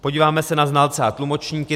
Podíváme se na znalce a tlumočníky.